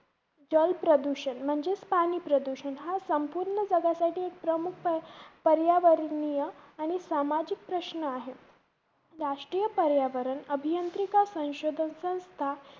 जलप्रदूषण म्हणजेच पाणी प्रदूषण हा संपूर्ण जगासाठी प्रमुख पर्यावरणीय आणि सामाजिक प्रश्न आहे. राष्ट्रीय पर्यावरण अभियान्त्रिका संशोधन संस्था